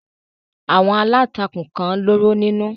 Àwọn aláǹtakùn kan lóró nínú.